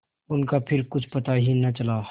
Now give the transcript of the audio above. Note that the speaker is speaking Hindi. उनका फिर कुछ पता ही न चला